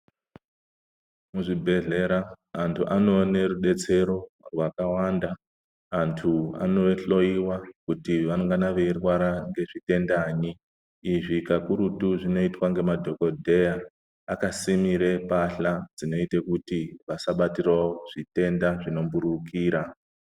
Muzvibhendlera antu anoona rudetsero rwakawanda. Antu anohloiwa kuti anengana eirwara ngezvitenda nyi. Izvi kakurutu zvinoitwa ngemadhokodheya. Akasimira mbasha zvinoita kuti asabatwa ngezvitenda zvinomhuririkira.